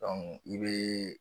Dɔnku i bee